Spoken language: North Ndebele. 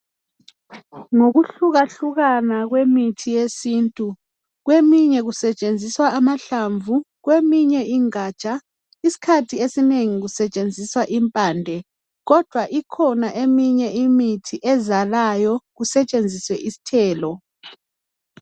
Ngokuhlukahlukana kwemithi yesintu eminye kusetshenziswa amahlamvu kweminye ingatsha. Isikhathi esinengi kusetshenziswa impande kodwa ikhona eminye imithi ezalayo kusetshenziswe isithelo.